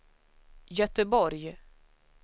Göteborg